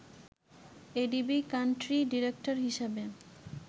ADB country director হিসেবে